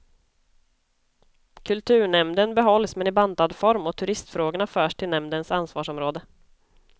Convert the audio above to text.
Kulturnämnden behålls men i bantad form och turistfrågorna förs till nämndens ansvarsområde.